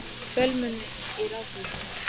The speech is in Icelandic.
Fjölmenni í Ráðhúsinu